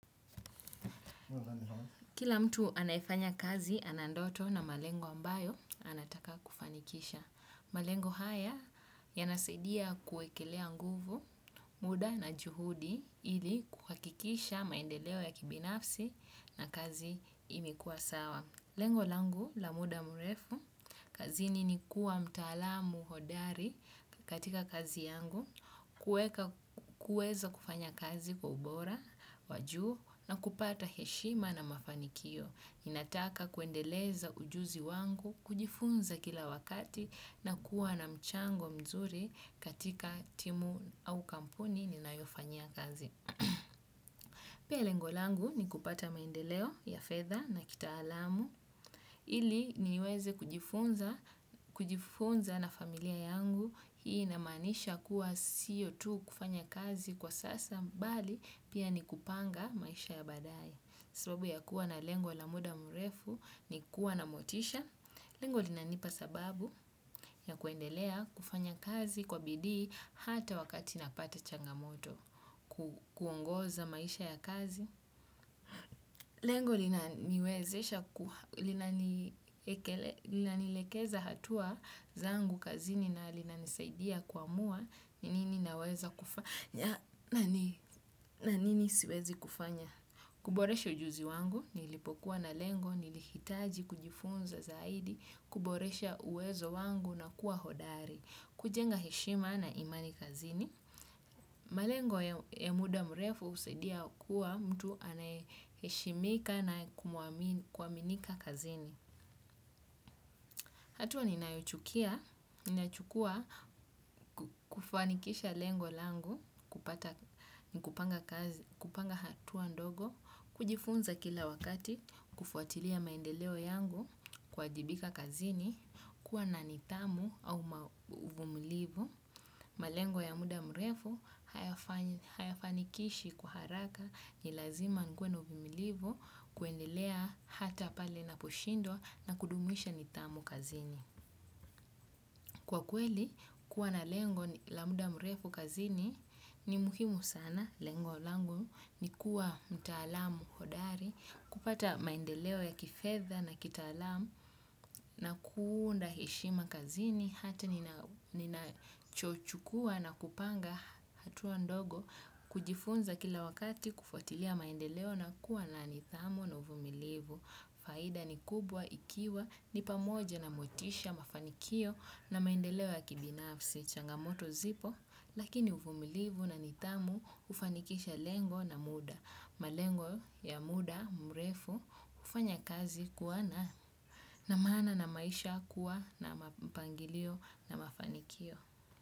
Kila mtu anayefanya kazi ana ndoto na malengo ambayo anataka kufanikisha. Malengo haya yanasaidia kuekelea nguvu, muda na juhudi hili kuhakikisha maendeleo ya kibinafsi na kazi imekuwa sawa lengo langu la muda mrefu, kazini ni kuwa mtaalamu hodari katika kazi yangu, kueza kufanya kazi kwa ubora, wa juu na kupata heshima na mafanikio. Ninataka kuendeleza ujuzi wangu, kujifunza kila wakati na kuwa na mchango mzuri katika timu au kampuni ninayofanyia kazi. Pia lengo langu ni kupata maendeleo ya fedha na kitaalamu ili niweze kujifunza na familia yangu hii inamaanisha kuwa siyo tu kufanya kazi kwa sasa mbali pia ni kupanga maisha ya baadae sababu ya kuwa na lengo la muda mrefu ni kuwa na motisha, lengo linanipa sababu ya kuendelea kufanya kazi kwa bidii hata wakati napata changamoto, kuongoza maisha ya kazi. Lengo lina nielekeza hatua zangu kazini na lina nisaidia kuamua, ni nini naweza kufanya, na nini siwezi kufanya. Kuboresha ujuzi wangu, nilipokuwa na lengo, nilihitaji kujifunza zaidi, kuboresha uwezo wangu na kuwa hodari. Kujenga heshima na imani kazini. Malengo ya muda mrefu husaidia kuwa mtu anaye heshimika na kuaminika kazini hatua ninayochukia, ninachukua kufanikisha lengo langu, kupanga hatua ndogo, kujifunza kila wakati, kufuatilia maendeleo yangu, kwa jibika kazini, kuwa na nidhamu au uvumulivu, malengo ya muda mrefu, hayafanikishi kwa haraka ni lazima nikuwe na uvumulivu kuendelea hata pale na poshindwa na kudumisha nidhamu kazini. Kwa kweli, kuwa na lengo la muda mrefu kazini ni muhimu sana. Lengo langu ni kuwa mtaalamu hodari, kupata maendeleo ya kifedha na kitaalamu, na kuunda heshima kazini, hata ninachochukua na kupanga hatua ndogo, kujifunza kila wakati kufuatilia maendeleo na kuwa na nidhamu na uvumilivu. Faida ni kubwa ikiwa ni pamoja na motisha mafanikio na maendeleo ya kibinafsi changamoto zipo, lakini uvumilivu na nidhamu ufanikisha lengo na muda. Malengo ya muda mrefu hufanya kazi kuwa na maana na maisha kuwa na mapangilio na mafanikio.